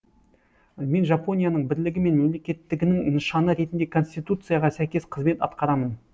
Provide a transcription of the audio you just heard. мен жапонияның бірлігі мен мемлекеттігінің нышаны ретінде конституцияға сәйкес қызмет атқарамын